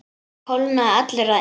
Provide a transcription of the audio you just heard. Hann kólnaði allur að innan.